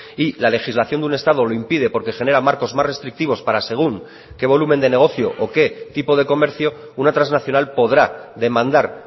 y la legislación de un estado lo impide porque genera marcos más restrictivos para según qué volumen de negocio o qué tipo de comercio una transnacional podrá demandar